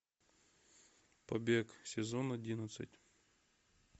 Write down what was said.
побег сезон одиннадцать